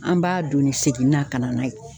An b'a donni segin na ka na n'a ye.